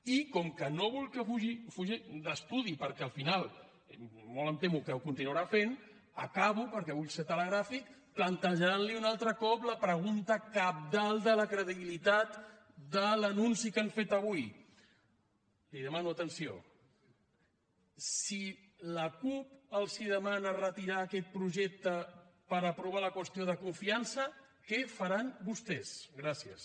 i com que no vull que fugi d’estudi perquè al final molt em temo que ho continuarà fent acabo perquè vull ser telegràfic plantejant li un altre cop la pregunta cabdal de la credibilitat de l’anunci que han fet avui li demano atenció si la cup els demana retirar aquest projecte per aprovar la qüestió de confiança què faran vostès gràcies